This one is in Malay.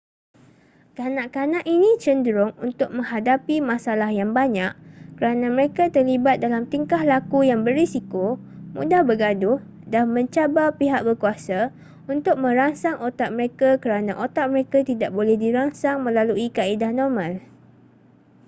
kanak-kanak ini cenderung untuk menghadapi masalah yang banyak kerana mereka terlibat dalam tingkah laku yang berisiko mudah bergaduh dan mencabar pihak berkuasa untuk merangsang otak mereka kerana otak mereka tidak boleh dirangsang melalui kaedah normal